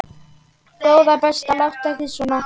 Góða besta láttu ekki svona!